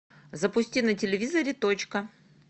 запусти на телевизоре точка